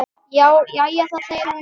Jæja þá, segir hún.